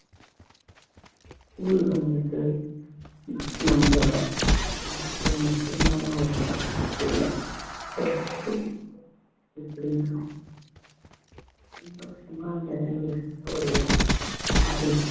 school வந்துட்டு நம்மளோட வாழ்க்கையில முக்கியமான ஒரு இடம் உள்ள அப்புடி இப்படின்னா சந்தோஷமா நிறைஞ்சிருக்கு ஓர் இடம் அது